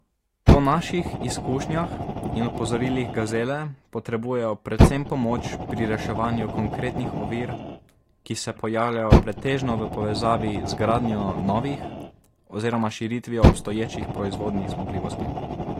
Po naših izkušnjah in opozorilih gazele potrebujejo predvsem pomoč pri reševanju konkretnih ovir, ki se pojavljajo pretežno v povezavi z gradnjo novih oziroma s širitvijo obstoječih proizvodnih zmogljivosti.